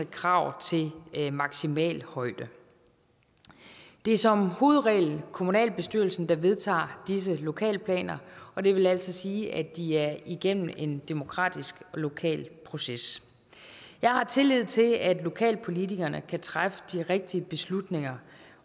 krav til maksimal højde det er som hovedregel kommunalbestyrelsen der vedtager disse lokalplaner og det vil altså sige at de er igennem en demokratisk lokal proces jeg har tillid til at lokalpolitikerne kan træffe de rigtige beslutninger